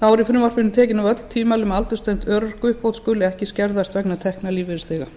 þá eru í frumvarpinu tekin af öll tvímæli um að aldurstengd örorkuuppbót skuli ekki skerðast vegna tekna lífeyrisþega